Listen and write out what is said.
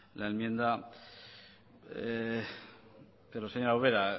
la enmienda pero señora ubera